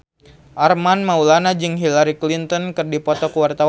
Armand Maulana jeung Hillary Clinton keur dipoto ku wartawan